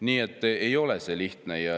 Nii et ei ole see lihtne.